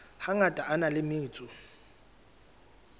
hangata a na le metso